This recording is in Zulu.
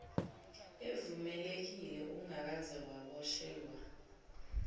evumelekile ungakaze waboshelwa